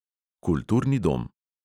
Kulturni dom.